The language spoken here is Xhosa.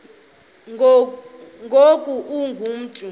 ngoku ungu mntu